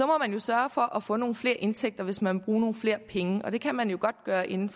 må jo sørge for at få nogle flere indtægter hvis man vil bruge flere penge og det kan man godt gøre inden